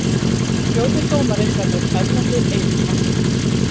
Fjórði dómari verður Erlendur Eiríksson.